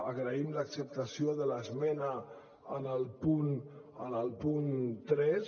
agraïm l’acceptació de l’esmena en el punt tres